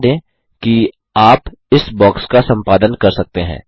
ध्यान दें कि आप इस बॉक्स का सम्पादन कर सकते हैं